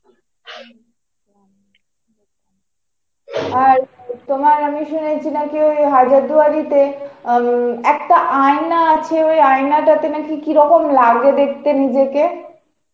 হম , আর তোমার আমি শুনেছি নাকি ওই হাজারদুয়ারিতে আঁ উম একটা আয়না আছে, ওই আয়না তাতে নাকি কিরকম লাগে দেখতে নিজেকে.